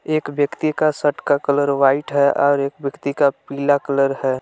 एक व्यक्ति का शर्ट का कलर व्हाइट है और एक व्यक्ति का पीला कलर है।